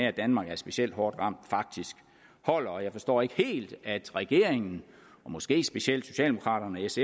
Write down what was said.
at danmark er specielt hårdt ramt faktisk holder jeg forstår ikke helt regeringens måske specielt socialdemokraternes